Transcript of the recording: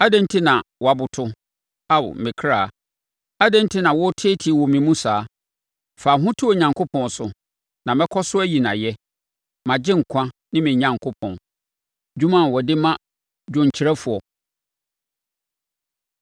Adɛn enti na woaboto, Ao me kra? Adɛn enti na woteetee wɔ me mu saa? Fa wo ho to Onyankopɔn so, na mɛkɔ so ayi no ayɛ, mʼAgyenkwa ne me Onyankopɔn. Dwom a wɔde ma dwomkyerɛfoɔ.